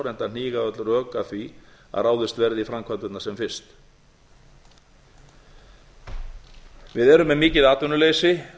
enda hníga öll rök að því að ráðist verði í framkvæmdirnar sem fyrst við erum með mikið atvinnuleysi